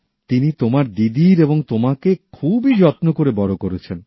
তিনি তোমার দিদির এবং তোমাকে খুবই যত্ন করে বড়ো করছেন